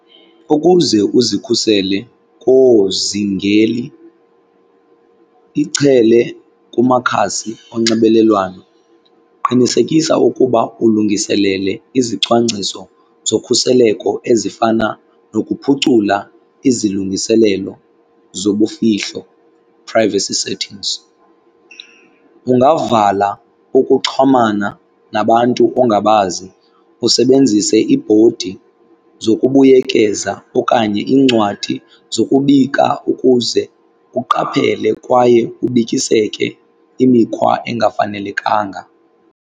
Ukuze uzikhusele koozingeli ichele kumakhasi onxibelelwano qinisekisa ukuba ulungiselele izicwangciso zokhuseleko ezifana nokuphucula izilungiselelo zobufihlo, privacy settings. Ungavala ukuxhomana nabantu ongabazi usebenzise iibhodi zokubuyekeza okanye iincwadi zokubika ukuze uqaphele kwaye ubikiseke imikhwa engafanelekanga.